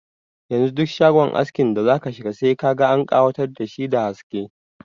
Yanzu duk shagon askin da zaka shiga sai ka an ƙawatar dashi da haske.